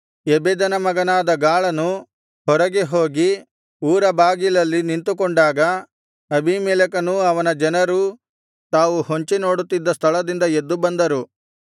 ಎಬೆದನ ಮಗನಾದ ಗಾಳನು ಹೊರಗೆ ಹೋಗಿ ಊರಬಾಗಿಲಲ್ಲಿ ನಿಂತುಕೊಂಡಾಗ ಅಬೀಮೆಲೆಕನೂ ಅವನ ಜನರೂ ತಾವು ಹೊಂಚಿನೋಡುತ್ತಿದ್ದ ಸ್ಥಳದಿಂದ ಎದ್ದು ಬಂದರು